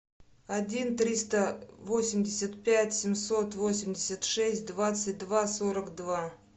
один триста восемьдесят пять семьсот восемьдесят шесть двадцать два сорок два